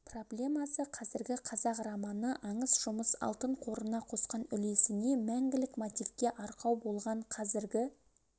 проблемасы қазіргі қазақ романы аңыс жұмыс алтын қорына қосқан үлесіне мәңгілік мотивке арқау болған қазіргі